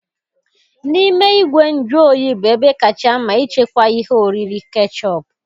N'ime igwe nju oyi bụ ebe kacha mma ịchekwa ihe oriri kechọp